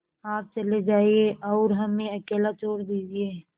आप चले जाइए और हमें अकेला छोड़ दीजिए